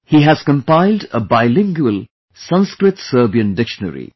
He has compiled a Bilingual SanskritSerbian Dictionary